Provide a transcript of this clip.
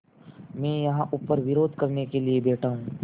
मैं यहाँ ऊपर विरोध करने के लिए बैठा हूँ